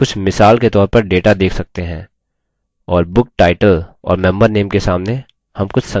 और book title और member name के सामने name कुछ संख्याएँ देखते हैं